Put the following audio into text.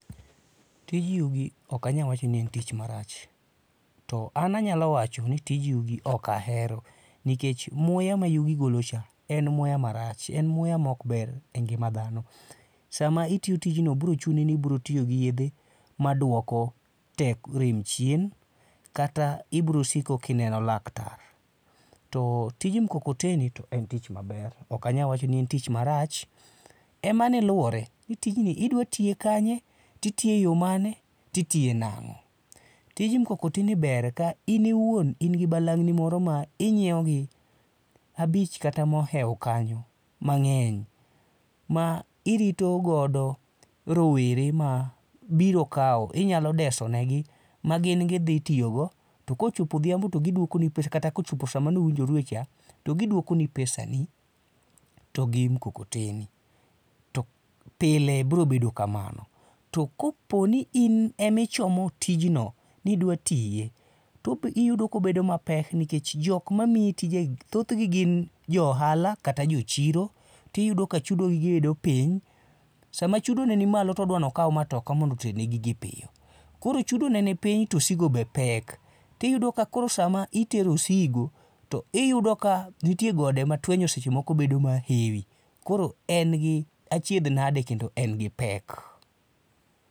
Tij yugi ok anyal wacho ni en tich marach, to an anyalo wacho ni tij yugi ok ahero nikech muya mayugi golocha en muya marach, en muya maok ber engima dhano. Sama itiyo tijno biro chuni ni itiyo gi yedhe maduoko rem chien kata ibiro siko ka ineno laktar. To tij mukokoteni to en tich maber, ok anyal wacho ni orach, en mana ni luwore ni tijni idwa tiye kanye, to itiye eyo mane to itiye nang'o. Tij mukokoteni ber ka in iwuon in gi balang' ni moro ma inyiewo gi abich kata mohewo kanyo, mang'eny ma irito godo rowere ma biro kawo, inyalo deso negi, magin gidhi tiyo go to ka ochopo odhiambo to giduokoni kata kochopo saa mane uwinjorue cha to giduokoni pesani to gi mukokoteni to pile biro bedo kamano. To kopo ni in ema ichomo tijno, ni idwa tiye to iyudo ka obedo mapek nikech jok ma miyi tijegi thothgi gin jo ohala kata jo chiro to iyudo ka chudo gi bedo piny sama chudo ne nimalo to odwa ni okaw matoka mondo oterne gigi piyo. Koro chudo ne nipiny to osigo be pek. Iyudo ka koro sama itero osigo to iyudo ka nitie gode ma twenyo seche moko bedo ka hewi. Koro en gi achiedh nade kendo en gi pek.